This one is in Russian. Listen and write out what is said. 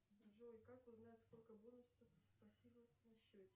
джой как узнать сколько бонусов спасибо на счете